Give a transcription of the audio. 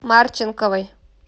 марченковой